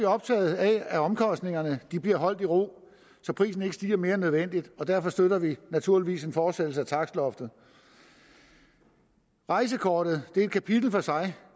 optagede af at omkostningerne bliver holdt i ro så prisen ikke stiger mere end nødvendigt og derfor støtter vi naturligvis en fortsættelse af takstloftet rejsekortet er et kapitel for sig